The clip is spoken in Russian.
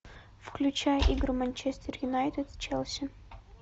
включай игру манчестер юнайтед с челси